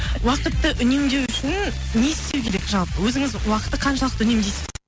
уақытты үнемдеу үшін не істеу керек жалпы өзіңіз уақытты қаншалықты үнемдейсіз